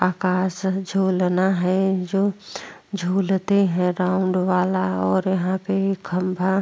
आकाश झूलना है जो झूलते है राउंड वाला और यहाँ पे खम्भा --